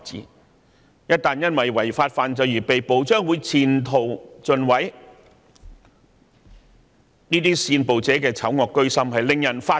他們一旦因為違法犯罪而被捕，將會前途盡毀，這些煽暴者的醜惡居心實在令人髮指。